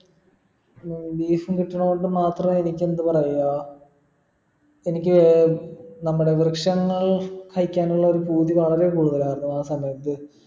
ഉം beef ഉം കിട്ടണോണ്ട് മാത്രം എനിക്കെന്ത് പറയുക എനിക്ക് നമ്മുടെ വൃക്ഷണങ്ങൾ കഴിക്കാനുള്ള ഒരു പൂതി വളരെ കൂടുതലായിരുന്നു ആ സമയത്ത്